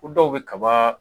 Ko dɔw bɛ kaba